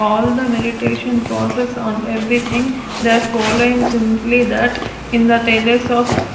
all the meditation process on everything they are following simply that in the thejus of --